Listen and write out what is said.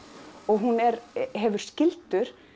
og hún hefur skyldu